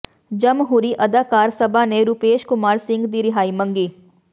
ਜਮਹੂਰੀ ਅਧਿਕਾਰ ਸਭਾ ਨੇ ਰੂਪੇਸ਼ ਕੁਮਾਰ ਸਿੰਘ ਦੀ ਰਿਹਾਈ ਮੰਗੀ